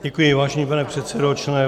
Děkuji, vážený pane předsedo.